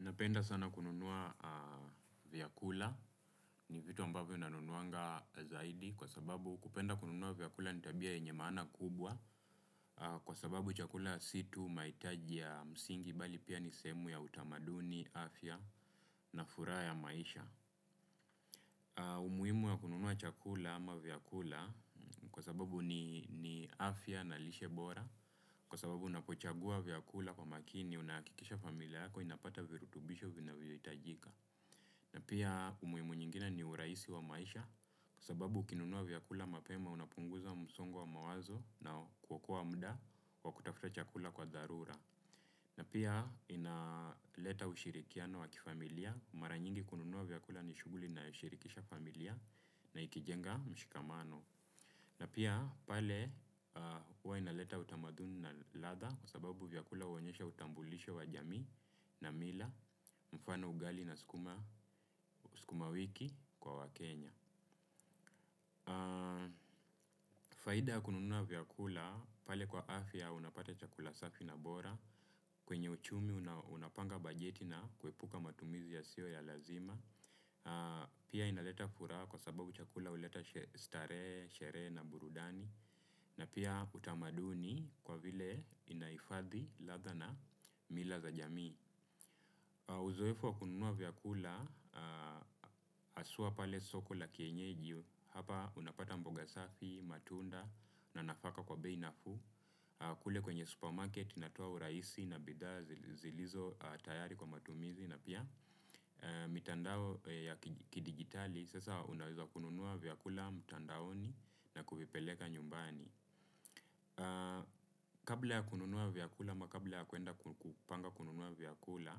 Napenda sana kununua vyakula, ni vitu ambavyo nanunuanga zaidi kwa sababu kupenda kununua vyakula ni tabia yenye maana kubwa kwa sababu chakula si tu mahitaji ya msingi bali pia ni sehemu ya utamaduni, afya na furaha ya maisha. Umuhimu wa kununua chakula ama vyakula kwa sababu ni afya na lishe bora kwa sababu unapochagua vyakula kwa makini unahakikisha familia yako inapata virutubisho vinavyohitajika. Na pia umuhimu nyingine ni urahisi wa maisha kwa sababu ukinunua vyakula mapema unapunguza msongo wa mawazo na kuokoa muda wa kutafuta chakula kwa dharura na pia inaleta ushirikiano wa kifamilia mara nyingi kununua vyakula ni shughuli inayoshirikisha familia na ikijenga mshikamano. Na pia pale huwa inaleta utamaduni na ladha kwa sababu vyakula huonyesha utambulisho wa jamii na mila mfano ugali na sukuma wiki kwa wakenya. Faida ya kununua vyakula, pale kwa afya unapata chakula safi na bora, kwenye uchumi unapanga bajeti na kuepuka matumizi yasiyo ya lazima pia inaleta furaha kwa sababu chakula huleta starehe, sherehe na burudani na pia utamaduni kwa vile inahifadhi ladha na mila za jamii uzoefu wa kununua vyakula, haswa pale soko la kienyeji, hapa unapata mboga safi, matunda na nafaka kwa bei nafuu kule kwenye supermarket inatoa urahisi na bidhaa zilizo tayari kwa matumizi na pia mitandao ya kidijitali sasa unaweza kununua vyakula mtandaoni na kuvipeleka nyumbani. Kabla ya kununua vyakula ama kabla ya kuenda kupanga kununua vyakula,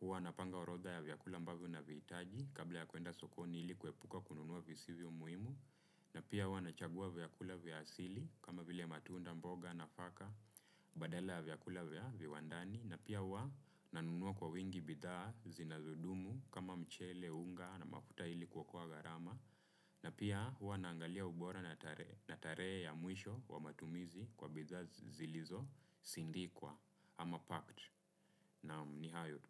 huwa napanga orodha ya vyakula ambavyo navihitaji, kabla ya kuenda sokoni ili kuepuka kununua visivyo muhimu, na pia huwa nachagua vyakula vya asili kama vile matunda, mboga, nafaka badala ya vyakula vya viwandani, na pia huwa nanunua kwa wingi bidhaa zinazodumu kama mchele, unga na mafuta ili kuokoa gharama na pia huwa naangalia ubora na tarehe na tarehe ya mwisho wa matumizi kwa bidhaa zilizosindikwa ama packed, naam ni hayo tu.